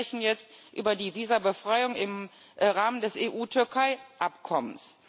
Denn wir sprechen jetzt über die Visabefreiung im Rahmen des EU Türkei Abkommens.